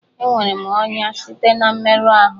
Enwere m ọnya site na mmerụ ahụ